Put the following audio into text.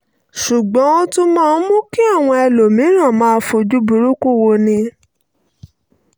ṣùgbọ́n ó tún máa ń mú kí àwọn ẹlòmíràn máa fojú burúkú woni